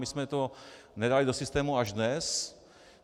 My jsme to nedali do systému až dnes.